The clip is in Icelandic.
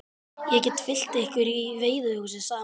Ég get fylgt ykkur í veiðihúsið, sagði maðurinn.